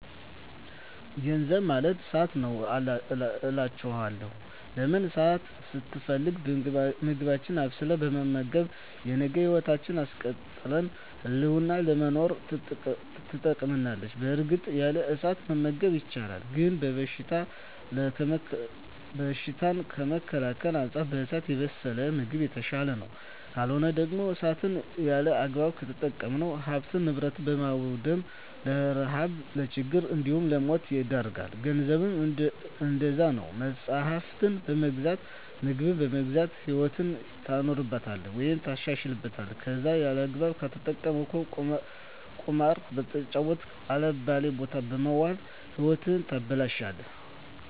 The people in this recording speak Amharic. ገንዘብ ማለት እሳት ነዉ አላቸዋለሁ። ለምን እሳትን ስትፈልግ ምግብህን አብስለህ በመመገብ የነገ ህይወትህን አስቀጥለህ ህልምህን ለመኖር ትጠቀምበታለህ በእርግጥ ያለ እሳት መመገብ ይቻላል ግን በሽታን ከመከላከል አንፃር በእሳት የበሰለ ምግብ የተሻለ ነዉ። ካልሆነ ደግሞ እሳትን ያለአግባብ ከተጠቀምክ ሀብትን ንብረት በማዉደም ለረሀብ ለችግር እንዲሁም ለሞት ይዳርጋል። ገንዘብም እንደዛዉ ነዉ መፅሀፍትን በመግዛት ምግብን በመግዛት ህይወትህን ታኖርበታለህ ወይም ታሻሽልበታለህ ከለዛ ያለአግባብ ከተጠቀምከዉ ቁማር በመጫወት አልባሌ ቦታ በመዋል ህይወትህን ታበላሸለህ።